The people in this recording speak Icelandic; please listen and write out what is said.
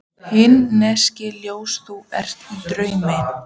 Himneskt ljós þú sér í draumi.